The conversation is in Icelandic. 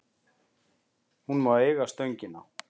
Hún má eiga Stöngina.